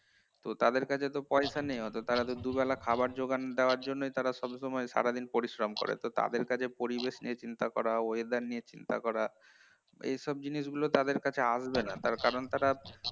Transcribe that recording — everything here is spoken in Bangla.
তাদের তো পয়সা নেই অতো তারা তো দুবেলা খাবার যোগান পাওয়ার জন্যই তারা সব সময় সারাদিন পরিশ্রম করে তো তাদের কাছে পরিবেশ নিয়ে চিন্তা করা এবং weather নিয়ে চিন্তা করা এসব জিনিসগুলো তাদের কাছে আসবেনা তার কারণ তারা